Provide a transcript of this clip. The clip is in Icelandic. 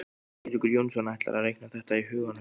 Eiríkur Jónsson: ætlarðu að reikna þetta í huganum?